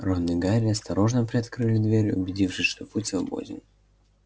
рон и гарри осторожно приоткрыли дверь убедившись что путь свободен